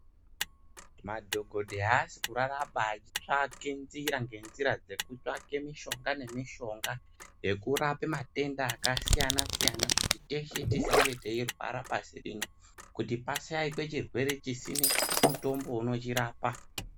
Madhokodhe haasi kuraraba achitsvake nzira ngenzira dzekutsvake mishonga nemishonga yekurape matenda akasiyana -siyana kuti teshe tisange teirwara pasi rino kuti pashaikwe chirwere chisine mutombo unochirapa.